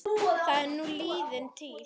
Það er nú liðin tíð.